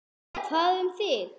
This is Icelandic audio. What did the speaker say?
Jóhann: Hvað um þig?